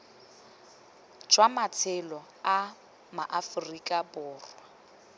jwa matshelo a maaforika borwa